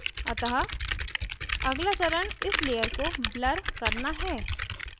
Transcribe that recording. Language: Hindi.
अतः अगला चरण इस layer को blur करना है